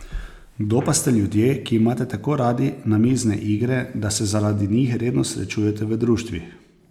Kdo pa ste ljudje, ki imate tako radi namizne igre, da se zaradi njih redno srečujete v društvih?